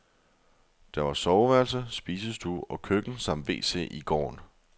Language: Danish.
Der var soveværelse, spisestue og køkken samt wc i gården.